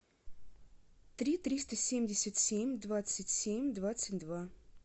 три триста семьдесят семь двадцать семь двадцать два